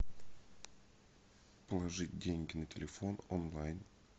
положить деньги на телефон онлайн